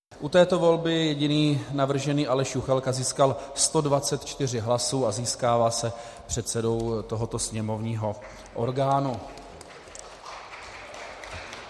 U této volby jediný navržený Aleš Juchelka získal 124 hlasů a stává se předsedou tohoto sněmovního orgánu.